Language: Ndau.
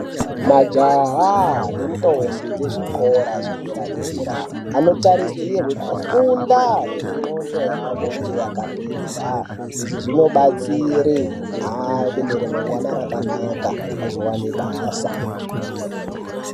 Majaha nentombi dzezvikora zvedera dera anotarisirwe kufunda kuti ndxondo yavo inge yakapinza. Izvi zvinobatsire ave neramangwani rakanaka azowane basa.